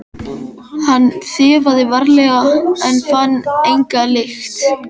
Hann þefaði varlega en fann enga lykt.